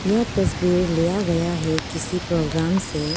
यह तस्वीर लिया गया है किसी प्रोग्राम से।